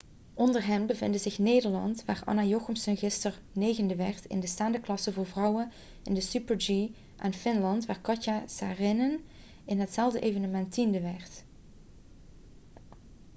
onder hen bevinden zich nederland waar anna jochemsen gisteren negende werd in de staande klasse voor vrouwen in de super-g en finland waar katja saarinen in hetzelfde evenement tiende werd